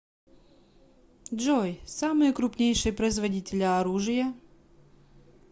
джой самые крупнейшие производители оружия